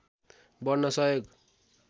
बढ्न सहयोग